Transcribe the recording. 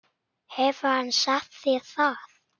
Hefur hann sagt þér það?